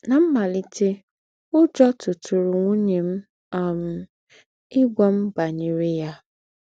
Ná m̀màlìtè, ùjọ́ tùtùrụ̀ ńwùnyè m um ígwà m bányerè ya.